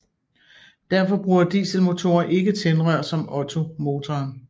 Derfor bruger dieselmotorer ikke tændrør som ottomotoren